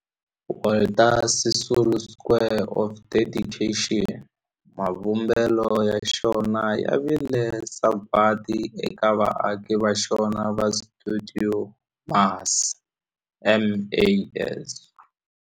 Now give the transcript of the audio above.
Walter Sisulu Square of Dedication, mavumbelo ya xona ya vile sagwadi eka vaaki va xona va stuidio MAS.